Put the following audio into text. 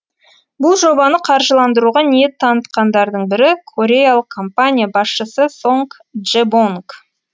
бұл жобаны қаржыландыруға ниет танытқандардың бірі кореялық компания басшысы сонг джебонг